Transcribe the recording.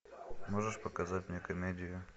можешь показать мне комедию